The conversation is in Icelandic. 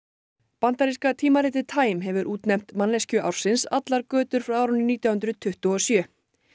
bandaríska tímaritið time hefur útnefnt manneskju ársins allar götur frá árinu nítján hundruð tuttugu og sjö